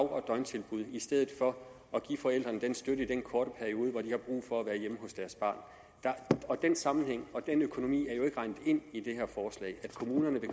og døgntilbud i stedet for at give forældrene støtte i en kort periode hvor de har brug for at være hjemme hos deres barn den sammenhæng og den økonomi er jo ikke regnet ind i det her forslag at kommunerne vil